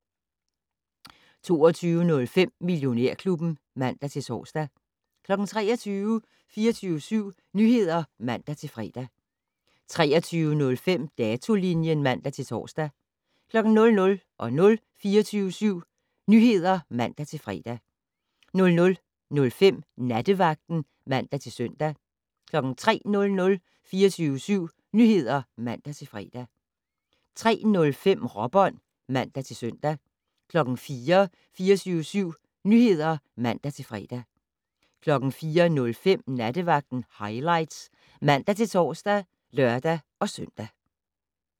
22:05: Millionærklubben (man-tor) 23:00: 24syv Nyheder (man-fre) 23:05: Datolinjen (man-tor) 00:00: 24syv Nyheder (man-fre) 00:05: Nattevagten (man-søn) 03:00: 24syv Nyheder (man-fre) 03:05: Råbånd (man-søn) 04:00: 24syv Nyheder (man-fre) 04:05: Nattevagten Highlights (man-tor og lør-søn)